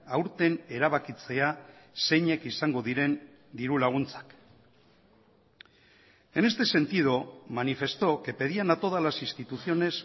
aurten erabakitzea zeinek izango diren dirulaguntzak en este sentido manifestó que pedían a todas las instituciones